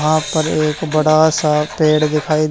वहां पर एक बड़ा सा पेड़ दिखाई--